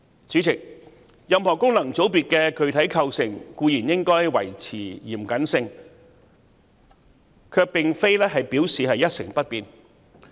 主席，任何功能界別的具體構成固然應該維持嚴謹，但卻並不表示一成不變。